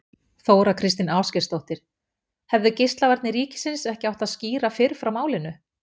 Þóra Kristín Ásgeirsdóttir: Hefðu Geislavarnir ríkisins ekki átt að skýra fyrr frá málinu?